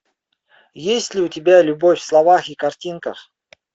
есть ли у тебя любовь в словах и картинках